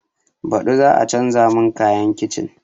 Baɗi za a canza mun kayan kicin?